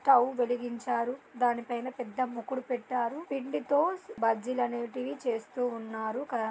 Stove వెలిగించారు. దాని పైనా పెద్ద ముకుడి పెట్టరు. పిండితో బజ్జీలు అనేవిటి చేస్తు ఉన్నారు కదా.